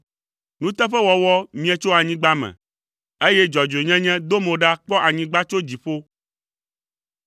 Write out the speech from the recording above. Nuteƒewɔwɔ mie tso anyigba me, eye dzɔdzɔenyenye do mo ɖa kpɔ anyigba tso dziƒo.